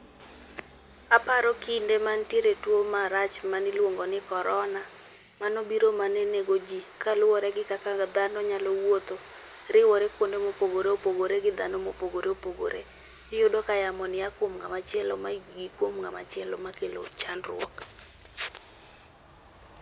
Aparo kinde mane nitie tuo marach mane iluongo ni corona, manobiro mane negoji mane luwore gi kaka dhano nyalo wuotho, riwore kuonde mopogore opogore gi dhano mopogore opogore, iyudo ka yamoni a kuom ng'ama chielo ma gik kuom ng'ama chielo makelo chandruok.